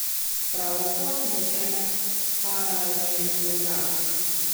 Pravokotnik je paralelogram.